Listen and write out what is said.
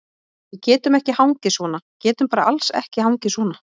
Við getum ekki hangið svona, getum bara alls ekki hangið svona.